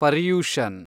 Paryushan